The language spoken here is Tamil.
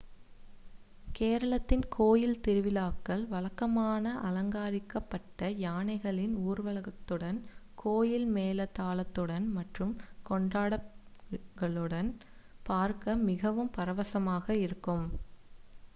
கேரளத்தின் கோயில் திருவிழாக்கள் வழக்கமான அலங்கரிக்கப்பட்ட யானைகளின் ஊர்வலத்துடன் கோயில் மேள தாளங்களுடன் மற்றும் கொண்டாட்டங்களுடன் பார்க்க மிகவும் பரவசமாக இருக்கும்